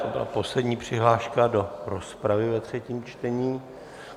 To byla poslední přihláška do rozpravy ve třetím čtení.